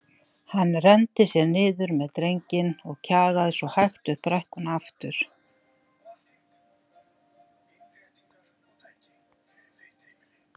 Hann renndi sér niður með drenginn og kjagaði svo hægt upp brekkuna aftur.